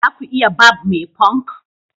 za ku iya Barb me punk